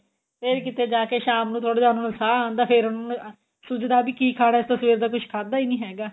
ਫੇਰ ਕਿਤੇ ਜਾਕੇ ਸ਼ਾਮ ਨੂੰ ਥੋੜਾ ਜਿਹਾ ਉਹਨਾ ਨੂੰ ਸਾਂਹ ਆਉਂਦਾ ਫੇਰ ਉਹਨਾ ਨੂੰ ਸੁੱਜਦਾ ਵੀ ਕਿ ਖਾਣਾ ਅਸੀਂ ਤਾਂ ਸਵੇਰ ਦਾ ਕੁੱਝ ਖਾਦਾ ਨੀ ਹੈਗਾ